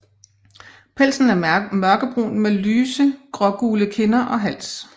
Pelsen er mørkebrun med lyse grågule kinder og hals